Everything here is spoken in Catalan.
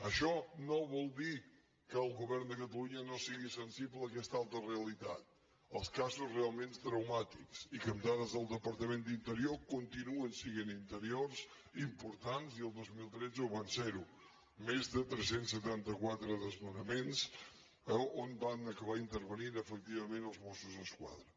això no vol dir que el go·vern de catalunya no sigui sensible a aquesta altra re·alitat els casos realment traumàtics i que amb dades del departament d’interior continuen sent importants i el dos mil tretze ho van ser més de tres cents i setanta quatre desnonaments on van acabar intervenint efectivament els mossos d’esqua·dra